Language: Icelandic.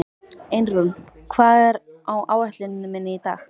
Einrún, hvað er á áætluninni minni í dag?